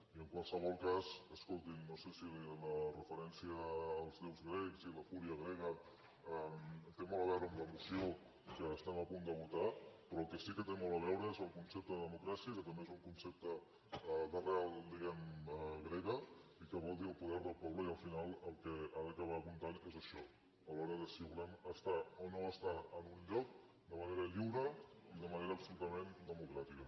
i en qualsevol cas escoltin no sé si la referència als déus grecs i la fúria grega té molt a veure amb la moció que estem a punt de votar però el que sí que té molt a veure és el concepte de democràcia que també és un concepte d’arrel diguem ne grega i que vol dir el poder del poble i al final el que ha d’acabar comptant és això a l’hora de si volem estar o no estar en un lloc de manera lliure i de manera absolutament democràtica